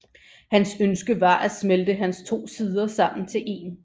Hans ønske var at smelte hans to sider sammen til én